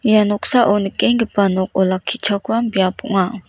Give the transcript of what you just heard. ia noksao nikenggipa nok olakkichakram biap ong·a.